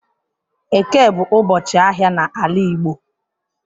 Eke bu ubochi ahia n'ala igbo.